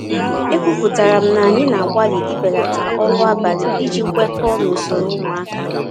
Ekwupụtara m na anyị na-agbalị ibelata ọrụ abalị iji kwekọọ na usoro ụmụaka.